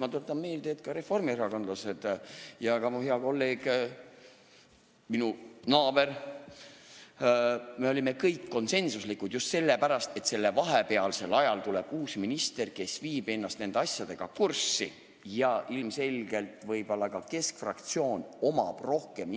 Ma tuletan meelde, et ka reformierakondlased ja mu hea kolleeg, minu naaber, olid kõik konsensuslikult poolt just sellepärast, et tuleb uus minister, kes viib ennast nende asjadega kurssi, ja ilmselgelt võib ka keskfraktsioonil olla nendes küsimustes rohkem